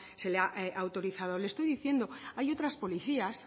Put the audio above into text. se le ha autorizado le estoy diciendo hay otras policías